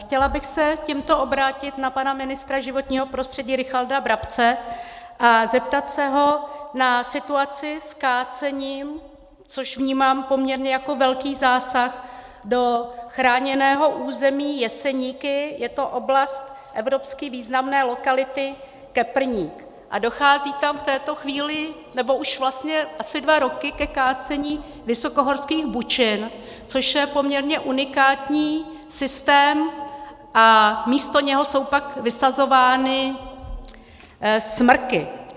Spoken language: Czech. Chtěla bych se tímto obrátit na pana ministra životního prostředí Richarda Brabce a zeptat se ho na situaci s kácením, což vnímám poměrně jako velký zásah do chráněného území Jeseníky, je to oblast evropsky významné lokality Keprník a dochází tam v této chvíli, nebo už vlastně asi dva roky, ke kácení vysokohorských bučin, což je poměrně unikátní systém, a místo něho jsou pak vysazovány smrky.